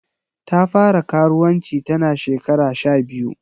Ta fara karuwanci ta na shekara sha biyu.